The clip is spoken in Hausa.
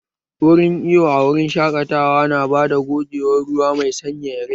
Wurin iwo a wurin shaƙatawa na bada gogewar ruwa mai sanyaya rai